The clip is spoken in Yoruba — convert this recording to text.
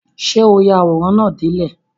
Ṣé o ya àwòrán náà dé ilẹ̀?